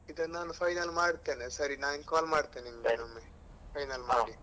ಇದ ನಾನು final ಮಾಡ್ತೇನೆ, ಸರಿ ನಾನ್ call ಮಾಡ್ತೇನೆ ನಿಂಗ್ ಇನ್ನೊಮ್ಮೆ final .